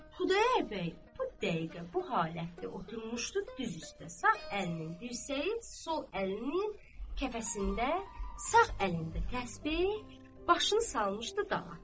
Xudayar bəy bu dəqiqə bu halətdə oturmuşdu düz üstə: sağ əlinin dirsəyi sol əlinin kəfəsində, sağ əlində təsbeh, başını salmışdı dağa.